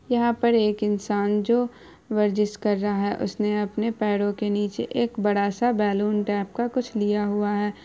यहाँ पर एक इंसान जो वर्जिस कर रहा है उसने अपने पैरों के नीचे एक बड़ा सा बैलून टाइप का कुछ लिया हुआ है।